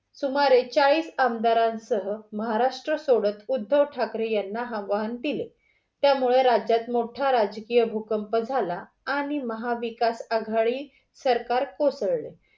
सुमारे चाळीस आमदारांसह महाराष्ट्र सोडत उद्धव ठाकरे यांना आव्हान दिले, त्यामुळे राज्यात मोठा राजकीय भूकंप झाला आणि महाविकास आघाडी सरकार कोसळले.